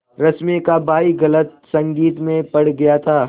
रश्मि का भाई गलत संगति में पड़ गया था